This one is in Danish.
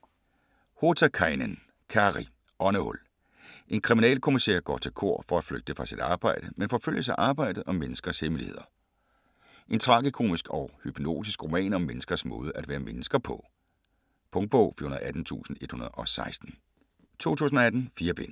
Hotakainen, Kari: Åndehul En kriminalkommisær går til kor for at flygte fra sit arbejde, men forfølges af arbejdet og menneskers hemmeligheder. En tragikomisk og hypnotisk roman om menneskers måde at være mennesker på. Punktbog 418116 2018. 4 bind.